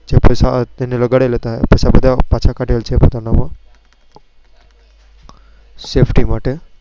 જે પૈસા તેને લગાડેલા હતા. તેને બધા પૈસા પાછા કાઢેલા પોતાના Sefty માટે.